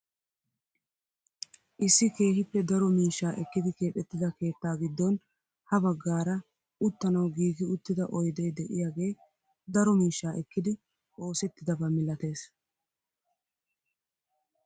Issi keehippe daro miishshaa ekkidi keexettida keettaa giddon ha baggaara uttanawu giigi uttida oydee de'iyaagee daro miishshaa ekkidi oosettidaba milatees.